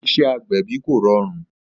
Iṣẹ́ agbẹ̀bí kò rọrùn